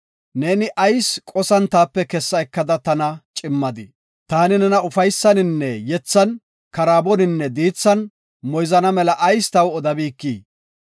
Neeni ayis qosan taape kessa ekada tana cimmadii? Taani nena ufaysaninne yethan, karaaboninne diithan moyzana mela ayis taw odabikii?